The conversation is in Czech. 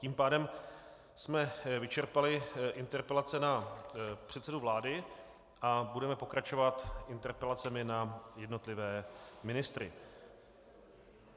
Tím pádem jsme vyčerpali interpelace na předsedu vlády a budeme pokračovat interpelacemi na jednotlivé ministry.